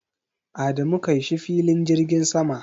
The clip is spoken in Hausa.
Adamu kai shi filin jirgin sama.